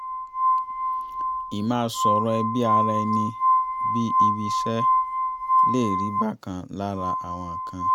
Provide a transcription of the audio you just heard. ì máa sọ̀rọ̀ ẹbí ara ẹni bí ibi-iṣẹ́ lè rí bákan lára àwọn kan